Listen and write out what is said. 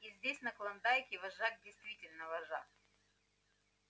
и здесь на клондайке вожак действительно вожак